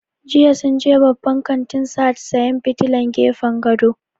Jiya sun je babban kantin Sahad sayan fitilan gefen gado